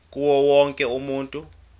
kuwo wonke umuntu